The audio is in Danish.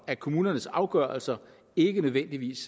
at kommunernes afgørelser ikke nødvendigvis